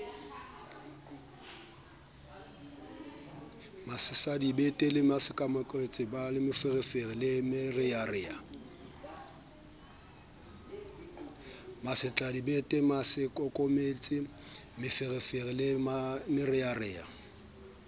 masetladibete masaakokometse meferefere le merearea